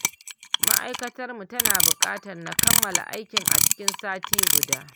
Ma'aikatarmu tana buƙatar na kammala aikin a cikin sati guda